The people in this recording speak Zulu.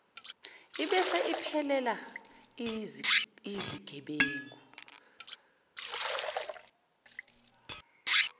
ibese iphelela iyizigebengu